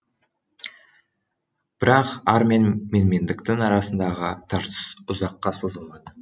бірақ ар мен менмендіктің арасындағы тартыс ұзаққа созылмады